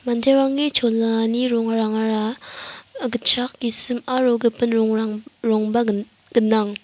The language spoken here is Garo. manderangni cholani rongrangara ah gitchak gisim aro gipin rongrang rongba gin-gnang.